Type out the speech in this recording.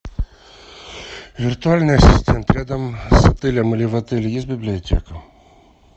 виртуальный ассистент рядом с отелем или в отеле есть библиотека